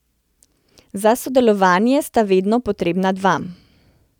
Za sodelovanje sta vedno potrebna dva.